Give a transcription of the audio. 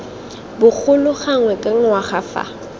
bogolo gangwe ka ngwaga fa